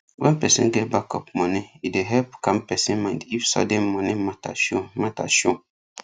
when person get backup money e dey help calm person mind if sudden money matter show matter show